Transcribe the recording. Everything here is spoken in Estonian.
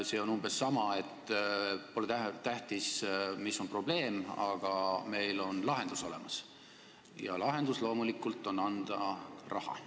See on umbes sama, et pole tähtis, mis on probleem, aga meil on lahendus olemas, ja lahendus loomulikult on anda raha.